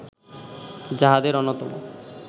যাহাদের অন্যতম